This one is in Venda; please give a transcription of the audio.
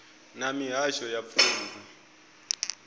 na mihasho ya pfunzo ya